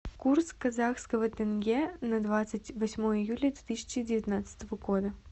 курс казахского тенге на двадцать восьмое июля две тысячи девятнадцатого года